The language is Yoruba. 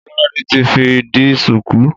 Lolade ti fi di ṣùkú.